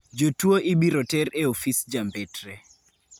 Jotuo ibiro ter e ofis jambetre.